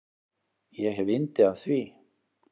Ég hef yndi af því.